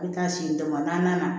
I bɛ taa si damadaman na